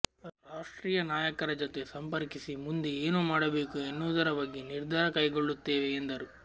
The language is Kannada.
ರಾಷ್ಟ್ರೀಯ ನಾಯಕರ ಜತೆ ಸಂಪರ್ಕಿಸಿ ಮುಂದೆ ಏನು ಮಾಡಬೇಕು ಎನ್ನುವುದರ ಬಗ್ಗೆ ನಿರ್ಧಾರ ಕೈಗೊಳ್ಳುತ್ತೇವೆ ಎಂದರು